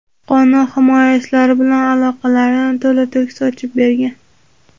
qonun himoyachilari bilan aloqalarini to‘la-to‘kis ochib bergan.